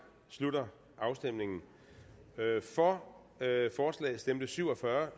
slutter afstemningen for stemte syv og fyrre